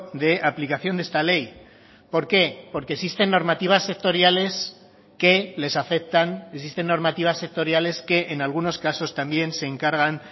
de aplicación de esta ley por qué porque existen normativas sectoriales que les afectan existen normativas sectoriales que en algunos casos también se encargan